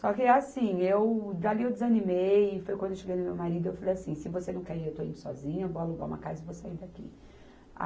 Só que assim, eu... Dali eu desanimei, foi quando eu cheguei no meu marido e eu falei assim, se você não quer ir, eu estou indo sozinha, vou alugar uma casa e vou sair daqui.